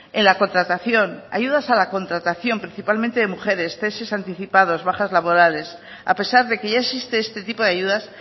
en la contratación ayudas a la contratación principalmente de mujeres ceses anticipados bajas laborales a pesar de que ya existe este tipo de ayudas